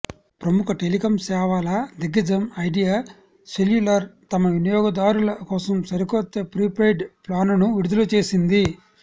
ప్రముఖ టెలికాం సేవల దిగ్గజం ఐడియా సెల్యులార్ తమ వినియోగదారుల కోసం సరికొత్త ప్రీపెయిడ్ ప్లానును విడుదల చేసింది